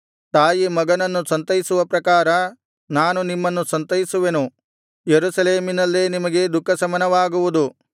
ತಾಯಿ ಮಗನನ್ನು ಸಂತೈಸುವ ಪ್ರಕಾರ ನಾನು ನಿಮ್ಮನ್ನು ಸಂತೈಸುವೆನು ಯೆರೂಸಲೇಮಿನಲ್ಲೇ ನಿಮಗೆ ದುಃಖಶಮನವಾಗುವುದು